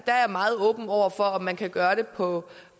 meget åben over for om man kan gøre det på